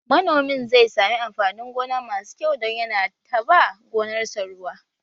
Manomin zai sami amfanin gona masu kyau don yana ta ba gonar sa ruwa